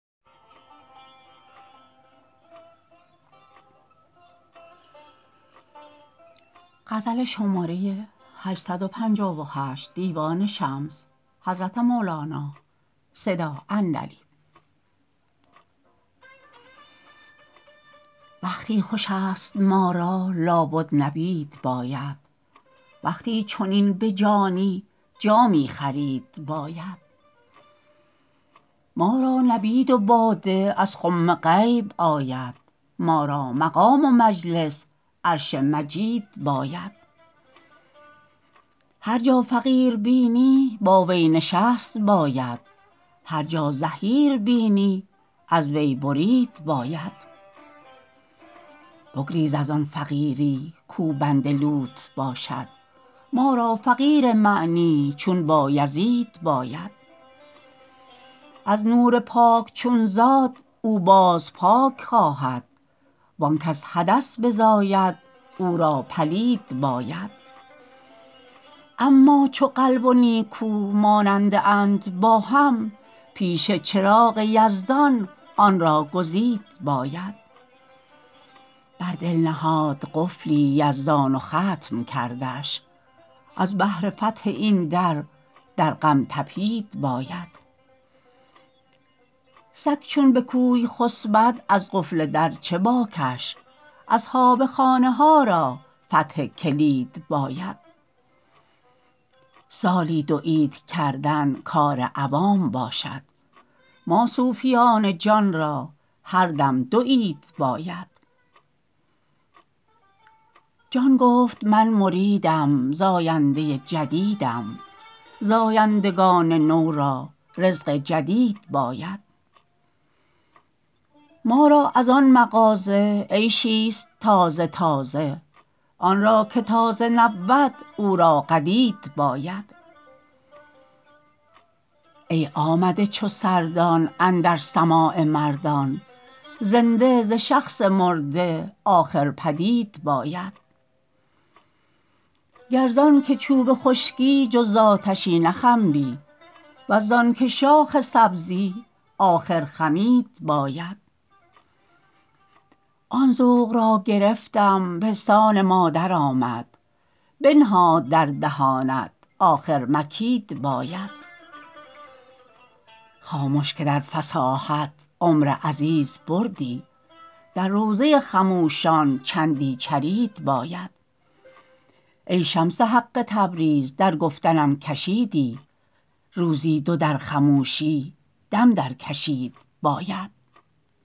وقتی خوش است ما را لابد نبید باید وقتی چنین به جانی جامی خرید باید ما را نبید و باده از خم غیب آید ما را مقام و مجلس عرش مجید باید هر جا فقیر بینی با وی نشست باید هر جا زحیر بینی از وی برید باید بگریز از آن فقیری کاو بند لوت باشد ما را فقیر معنی چون بایزید باید از نور پاک چون زاد او باز پاک خواهد و آنکه ز حدث بزاید او را پلید باید اما چو قلب و نیکو ماننده اند با هم پیش چراغ یزدان آن را گزید باید بر دل نهاد قفلی یزدان و ختم کردش از بهر فتح این در در غم تپید باید سگ چون به کوی خسبد از قفل در چه باکش اصحاب خانه ها را فتح کلید باید سالی دو عید کردن کار عوام باشد ما صوفیان جان را هر دم دو عید باید جان گفت من مریدم زاینده جدیدم زایندگان نو را رزق جدید باید ما را از آن مفازه عیشی ست تازه تازه آن را که تازه نبود او را قدید باید ای آمده چو سردان اندر سماع مردان زنده ز شخص مرده آخر بدید باید گر زانکه چوب خشکی جز ز آتشی نخنبی ور زانکه شاخ سبزی آخر خمید باید آن ذوق را گرفتم پستان مادر آمد بنهاد در دهانت آخر مکید باید خامش که در فصاحت عمر عزیز بردی در روضه خموشان چندی چرید باید ای شمس حق تبریز در گفتنم کشیدی روزی دو در خموشی دم درکشید باید